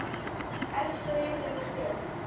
Elsku Regína Sif.